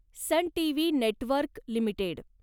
sun TV network limited